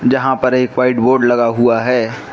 जहां पर एक व्हाइट बोर्ड लगा हुआ है।